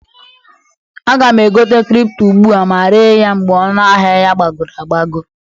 Aga m egote kripto ugbua ma ree ya mgbe ọnụ ahịa ya gbagoro agbago.